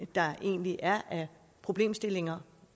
der egentlig er af problemstillinger